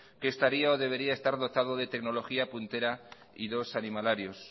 que estaría o debería estar dotado de tecnología puntera y dos animalarios